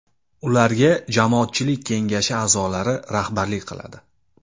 Ularga jamoatchilik kengashi a’zolari rahbarlik qiladi.